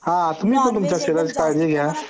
हा तुम्हीपण तुमच्या शरीराची काळजी घ्या